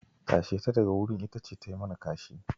Tashe ta daga wurin, ita ce ta yi mana kashi.